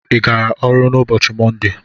Ị gara ọrụ n'ụbọchị mọnde?